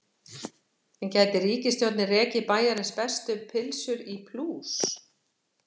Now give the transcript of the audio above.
En gæti ríkisstjórnin rekið Bæjarins bestu pylsur í plús?